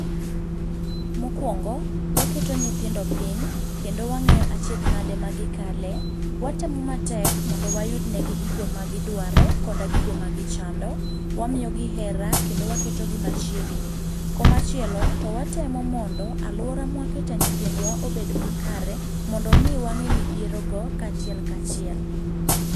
Mokuongo waketo nyithindo piny kendo wang'eyo achiedh nadi magikale, watemo matek mondo wayud negi gigo magidwaro koda gigo magichando. Wamiyogi hera kendo waketogi machiegni. Koma chielo, to watemo mondo aluora mwakete nyithindwa obed makare mondo mi wang'e midhierogo kachiel kachiel.